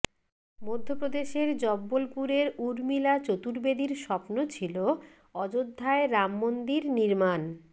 মধ্যপ্রদেশের জব্বলপুরের উর্মিলা চতুর্বেদীর স্বপ্ন ছিল অযোধ্যায় রামমন্দির নির্মাণ